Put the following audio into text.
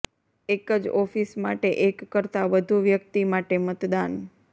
એક જ ઓફિસ માટે એક કરતાં વધુ વ્યક્તિ માટે મતદાન